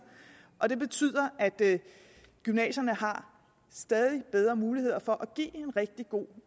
og det betyder at gymnasierne har stadig bedre muligheder for at give gymnasieeleverne en rigtig god